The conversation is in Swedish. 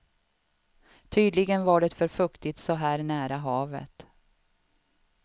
Tydligen var det för fuktigt så här nära havet.